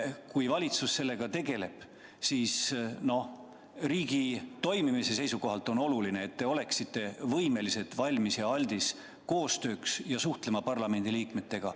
Kui valitsus sellega tegeleb, siis riigi toimimise seisukohalt on oluline, et te oleksite valmis, aldis koostööks ja suhtlema parlamendiliikmetega.